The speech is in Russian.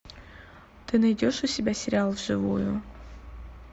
ты найдешь у себя сериал вживую